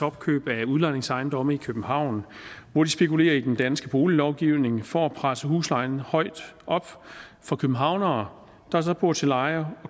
opkøb af udlejningsejendomme i københavn hvor de spekulerer i den danske boliglovgivning for at presse huslejen højt op for københavnere der bor til leje